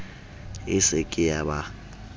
e se ke ya ba